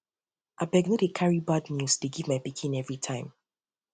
abeg no dey carry bad news um dey um give my pikin give my pikin everytime